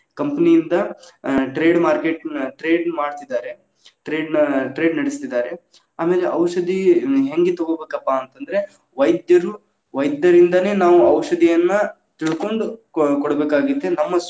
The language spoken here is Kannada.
Company lang:Foreign ಯಿಂದ್‌ trade market lang:Foreign ನ trade lang:Foreign ಮಾಡ್ತಿದ್ದಾರೆ trade lang:Foreign ನ trade lang:Foreign ನಡೆಸ್ತಿದಾರೆ. ಆಮೇಲೆ ಔಷಧಿ ಹ್ಮ್‌ ಹೆಂಗ್‌ ತಗೋಬೇಕಪ್ಪಾ ಅಂತ ಅಂದ್ರ, ವೈದ್ಯರು, ವೈದ್ಯರಿಂದಾನೇ, ನಾವ್‌ ಔಷಧಿಯನ್ನ ತಿಳ್ಕೊಂಡ್‌ ಕೊ~ ಕೊಡಬೇಕಾಗೇತಿ, ನಮ್ಮ.